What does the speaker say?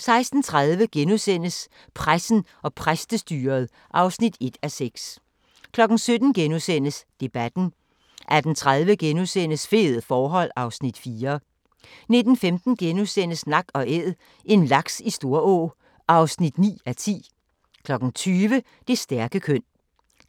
16:30: Pressen og præstestyret (1:6)* 17:00: Debatten * 18:30: Fede forhold (Afs. 4)* 19:15: Nak & Æd – en laks i Storå (9:10)* 20:00: Det stærke køn